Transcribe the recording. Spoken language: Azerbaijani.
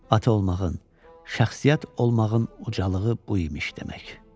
Ata olmağın, şəxsiyyət olmağın ucalığı bu imiş demək.